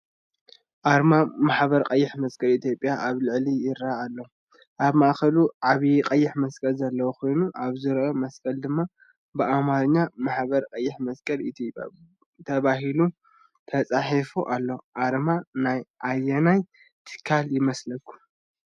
ኣርማ ማሕበር ቀይሕ መስቀል ኢትዮጵያ ኣብ ስእሊ ይርአ ኣሎ። ኣብ ማእከሉ ዓቢ ቀይሕ መስቀል ዘለዎ ኮይኑ፡ ኣብ ዙርያ መስቀል ድማ ብኣምሓርኛ “ማሕበር ቀይሕ መስቀል ኢትዮጵያ” ተባሂሉ ተጻሒፉ ኣሎ። ኣርማ ናይ ኣየናይ ትካል ይመስለኩም?